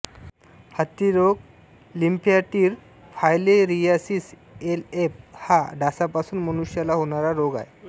हत्तीरोग lymphatic filariasis LF हा डासांपासून मनुष्याला होणारा रोग आहे